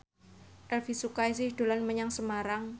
Elvi Sukaesih dolan menyang Semarang